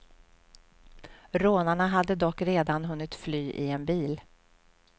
Rånarna hade dock redan hunnit fly i en bil.